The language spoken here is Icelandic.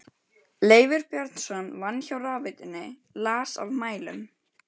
Leifur Björnsson vann hjá rafveitunni, las af mælum.